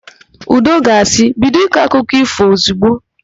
Udo ga-asị, "bido ịkọ akụkụ ífò ozigbo"!